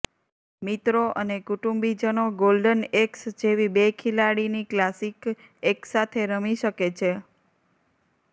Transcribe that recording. મિત્રો અને કુટુંબીજનો ગોલ્ડન એક્સ જેવી બે ખેલાડીની ક્લાસિક એકસાથે રમી શકે છે